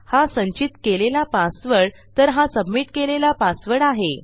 हा संचित केलेला पासवर्ड तर हा सबमिट केलेला पासवर्ड आहे